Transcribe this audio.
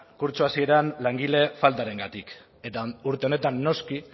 kurtso hasieran langile faltarengatik eta urte honetan noski